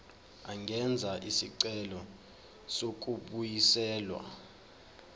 angenza isicelo sokubuyiselwa